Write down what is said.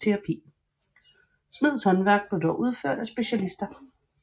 Smedens håndværk blev dog udført af specialister